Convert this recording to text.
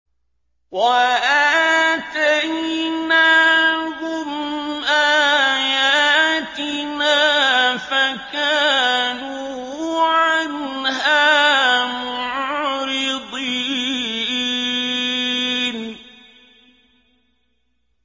وَآتَيْنَاهُمْ آيَاتِنَا فَكَانُوا عَنْهَا مُعْرِضِينَ